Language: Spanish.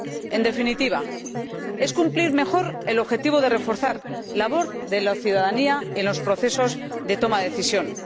En definitiva, es cumplir mejor el objetivo de reforzar la labor de la ciudadanía en los procesos de toma de decisiones.